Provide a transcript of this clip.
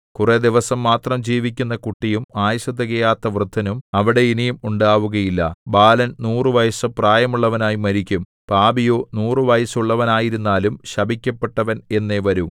കുറെ ദിവസം മാത്രം ജീവിക്കുന്ന കുട്ടിയും ആയുസ്സു തികയാത്ത വൃദ്ധനും അവിടെ ഇനി ഉണ്ടാവുകയില്ല ബാലൻ നൂറു വയസ്സു പ്രായമുള്ളവനായി മരിക്കും പാപിയോ നൂറു വയസ്സുള്ളവനായിരുന്നാലും ശപിക്കപ്പെട്ടവൻ എന്നേ വരൂ